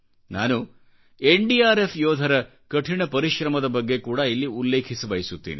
ನಾನು ಎನ್ಡಿಆರ್ಎಫ್ ಯೋಧರ ಕಠಿಣ ಪರಿಶ್ರಮದ ಬಗ್ಗೆಕೂಡಾ ಇಲ್ಲಿ ಉಲ್ಲೇಖಿಸಬಯಸುತ್ತೇನೆ